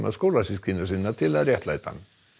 skólasystkina sinna til að réttlæta hann